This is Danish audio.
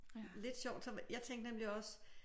Lidt sjovt som jeg tænkte nemlig også